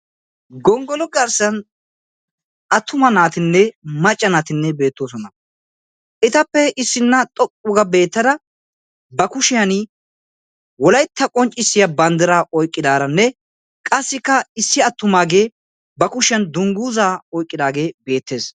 Gongolo garsan attuma naatinne macca naatinne beettoosona. etappe issinna xoqqu ga beettada ba kushiyaan wolaytta qonccissiya banddiraa oyiqqidaaranne qassikka issi attumaage ba kushiyaan dungguza oyiqqidaagee beettes.